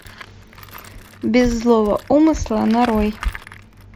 без злого умысла нарой